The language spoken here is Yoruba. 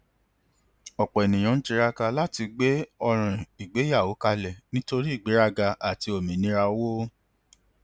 ọpọ ènìyàn ń tiraka láti gbé ọràn ìgbéyàwó kalẹ nítorí ìgbéraga àti òmìnira owó